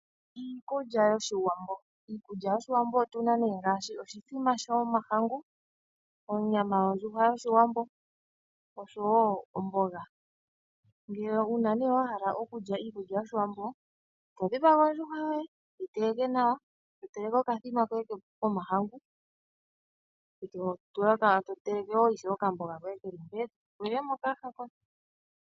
Iikulya yOshiwambo otu na nee ngaashi oshithima shomahangu, onyama yondjuhwa yOshiwambo osho wo omboga. Uuna wa hala okulya iikulya yOshiwambo to dhipaga ondjuhwa yoye , to yi teleke nawa, to teleke okathima koye komahangu , to teleke wo okamboga koye ke li mpee e to li le mokayaha koye.